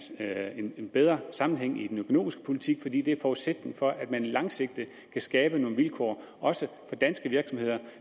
er en en bedre sammenhæng i den økonomiske politik fordi det er forudsætningen for at man langsigtet kan skabe nogle vilkår også for danske virksomheder